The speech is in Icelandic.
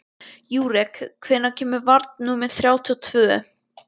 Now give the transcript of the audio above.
Júrek, hvenær kemur vagn númer þrjátíu og tvö?